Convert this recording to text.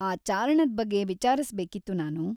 ಆ ಚಾರಣದ್ ಬಗ್ಗೆ ವಿಚಾರಿಸ್ಬೇಕಿತ್ತು‌ ನಾನು.